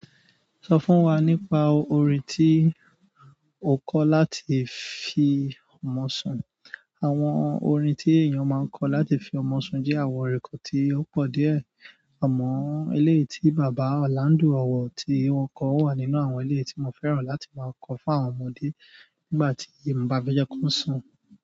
Sọ fún wa nípa orin tí o kọ láti fi mọ sun. Àwọn orin tí èèyàn máa ń kọ láti fi ọmọ sun jẹ́ àwọn orin kan tí ó pọ̀ díẹ̀. Àmọ́ eléyìí tí Bàbá Orlando ọ̀wọ̀ tí won kọ wà nínú àwọn eléyìí tí mo fẹ́ràn láti máa kọ fún àwọn ọmọdé nígbà tí mo bá fẹ́ jẹ́ kí wọ́n sun.